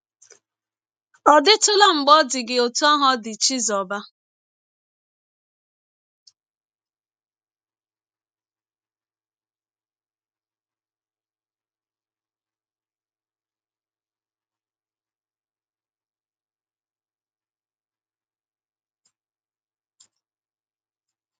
Ọ̀ dịtụla mgbe ọ dị gị ọtụ ahụ ọ dị Chizọba?